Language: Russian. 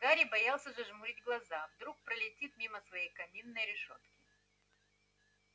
гарри боялся зажмурить глаза вдруг пролетит мимо своей каминной решётки